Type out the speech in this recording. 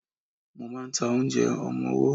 Mo ma ń ta oúnjẹ ọmọwọ́.